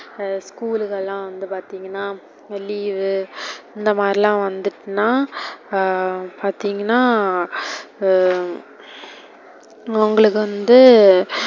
school லலாம் வந்து பாத்திங்கனா, leave வு இந்த மாதிரிலாம் வந்துடுத்துனா ஆஹ் பாத்திங்கனா உம் உங்களுக்கு வந்து,